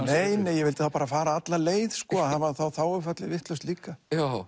nei nei ég vildi þá bara fara alla leið hafa þá þá þágufallið vitlaust líka